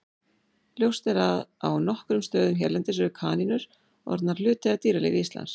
Ljóst er að á nokkrum stöðum hérlendis eru kanínur orðnar hluti af dýralífi Íslands.